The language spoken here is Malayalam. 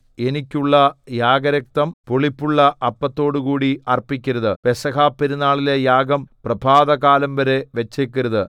എനിക്കുള്ള യാഗരക്തം പുളിപ്പുള്ള അപ്പത്തോടുകൂടി അർപ്പിക്കരുത് പെസഹപെരുനാളിലെ യാഗം പ്രഭാതകാലംവരെ വച്ചേക്കരുത്